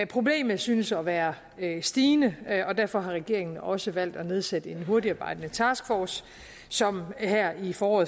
problemet synes at være stigende og derfor har regeringen også valgt at nedsætte en hurtigtarbejdende taskforce som her i foråret